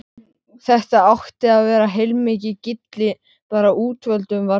Þetta átti að vera heilmikið gilli, bara útvöldum var boðið.